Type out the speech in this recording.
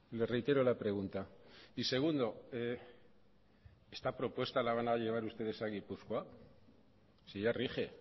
le reitero la pregunta y segundo esta propuesta la van a llevar ustedes a gipuzkoa si ya rige